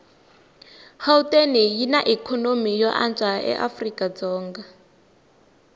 gauteng yinaikonomy yoanswa afrikadzonga